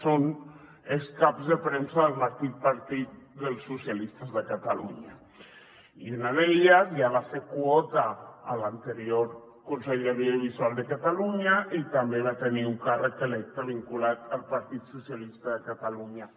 són els ex caps de premsa del mateix partit dels socialistes de catalunya i una d’elles ja va ser quota a l’anterior consell de l’audiovisual de catalunya i també va tenir un càrrec electe vinculat al partit socialista de catalunya